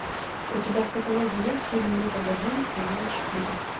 у тебя в каталоге есть фильм ну погоди сезон четыре